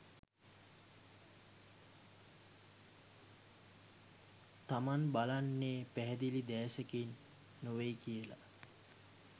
තමන් බලන්නේ පැහැදිලි දැසකින් නෙවෙයි කියලා